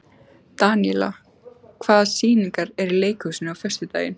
Daníela, hvaða sýningar eru í leikhúsinu á föstudaginn?